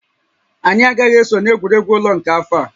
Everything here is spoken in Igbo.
Anyị agaghị eso na egwuregwu ụlọ nke afọ a